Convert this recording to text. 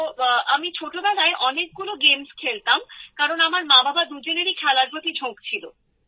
তো আমি ছোটবেলায় অনেকগুলো খেলা খেলতাম কারণ আমার মা বাবা দুজনেরই খেলার প্রতি ঝোঁক ছিল